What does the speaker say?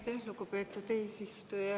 Aitäh, lugupeetud eesistuja!